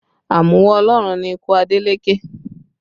Àmúwá Ọlọ́run ni ikú Adeleke